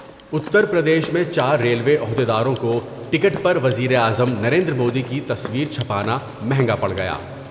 اتر پردیش میں چار ریلوے عہد یداروں کو ٹکٹ پروزیراعظم نریندرمودی کی تصویر چھپانا مہنگا پڑ گیا ۔